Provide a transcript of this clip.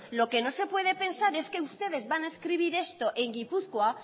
lo que no se puede pensar es que ustedes van a escribir esto en gipuzkoa